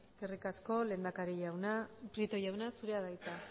eskerrik asko lehendakari jauna prieto jauna zurea da hitza